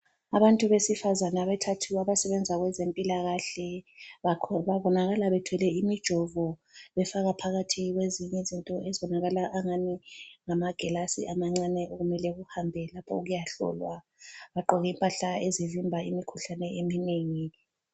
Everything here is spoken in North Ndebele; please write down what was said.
Abantu besifazane abathathu abasebenza kwezempilakahle babonakala bethwele imijovo befaka phakathi kwezinye izinto ezibonakala angani ngamagilasi amancane okumele kuhambe lapho okuyahlolwa. Bagqoke impahla ezivimbayo imikhuhlane eminengi.